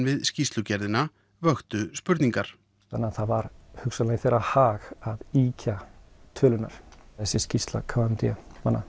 við skýrslugerðina vöktu spurningar þannig að það var hugsanlega í þeirra hag að ýkja tölurnar þessi skýrsla k m d